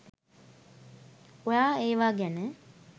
ඔයා ඒවා ගැන